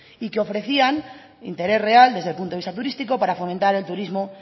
y que ofrecían interés real desde el punto de vista turístico para fomentar el turismo